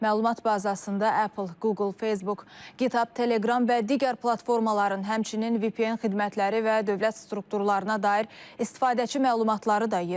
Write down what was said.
Məlumat bazasında Apple, Google, Facebook, GitHub, Telegram və digər platformaların, həmçinin VPN xidmətləri və dövlət strukturlarına dair istifadəçi məlumatları da yer alır.